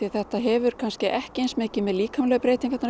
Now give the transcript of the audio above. þetta hefur ekki eins mikið með líkamlegu breytingarnar